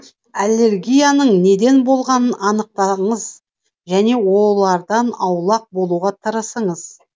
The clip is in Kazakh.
аллергияның неден болғанын анықтаңыз және олардан аулақ болуға тырысыңыз